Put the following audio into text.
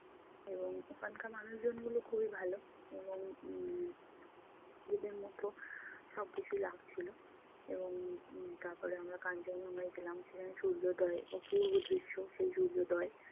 এবং ওখানকার মানুষজনগুলো খুবই ভালো এবং উম ওদের মতো সব কিছুই লাগছিলো। এবং উম তারপরে আমরা কাঞ্চনজঙ্ঘায় গেলাম সেখানে সূর্যোদয়, অপূর্ব দৃশ্য! সেই সূর্যোদয়